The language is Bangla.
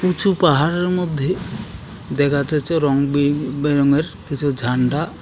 উঁচু পাহাড়ের মধ্যে দেখা যাচ্ছে রং বে-বেরঙের কিছু ঝান্ডা .